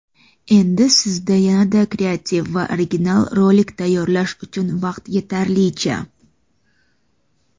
Endi sizda yanada kreativ va original rolik tayyorlash uchun vaqt yetarlicha.